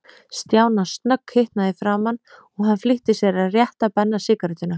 Stjána snögghitnaði í framan, og hann flýtti sér að rétta Benna sígarettuna.